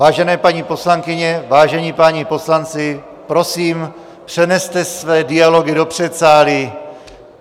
Vážené paní poslankyně, vážení páni poslanci, prosím, přeneste své dialogy do předsálí.